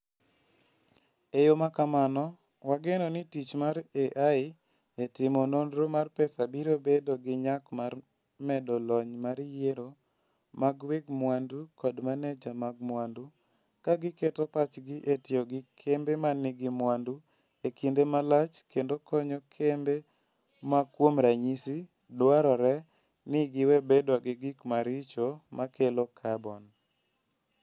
E yo ma kamano, wageno ni tich mar AI e timo nonro mar pesa biro bedo gi nyak mar medo lony mar yiero mag weg mwandu kod maneja mag mwandu, ka giketo pachgi e tiyo gi kembe ma nigi mwandu e kinde malach kendo konyo kembe ma, kuom ranyisi, dwarore ni giwe bedo gi gik maricho ma kelo carbon.